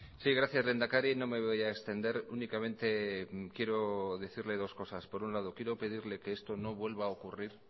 sí gracias lehendakari no me voy a extender únicamente quiero decirle dos cosas por un lado quiero pedirle que esto no vuelva a ocurrir